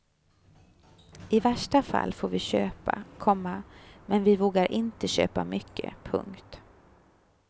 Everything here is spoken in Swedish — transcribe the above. I värsta fall får vi köpa, komma men vi vågar inte köpa mycket. punkt